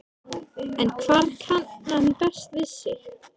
En hvar kann hann best við sig?